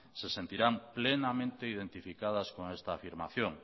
se sentirán plenamente identificadas con esta afirmación